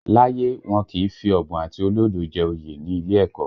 Láyé, wọn kì í fi ọ̀bùn àti olódo jẹ oyè ní ilé ẹ̀kọ́